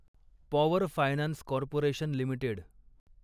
power finance corporation limited